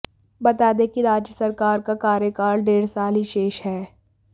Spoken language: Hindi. बता दें कि राज्य सरकार का कार्यकाल डेढ़ साल ही शेष है